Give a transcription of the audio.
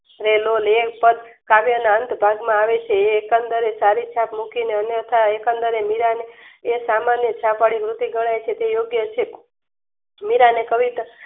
સરેનોન એકે સાથ કાવ્ય ના અંત ભાગ માં આવે છે. એ એકન્દરે સારી છાપ મૂકીને અન્યથા એકન દરે મીરાંને એ સામાન્ય છાપ વળી વૃત્તિ ગણાય છે તેયોગ્ય છે મીરા અને કવિતા